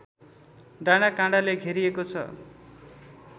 डाँडाकाँडाले घेरिएको छ